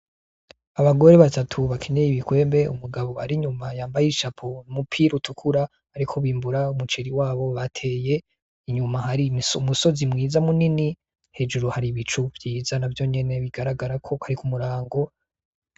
Abagore batatu bakenyeye ibikwembe umugabo ari inyuma yambaye ishapo, umupira utukura, bariko bimbura umuceri wabo bateye inyuma hari umusozi mwiza munini , hejuru hari ibicu vyiza navyonyene bigaragara ko ari kumurango.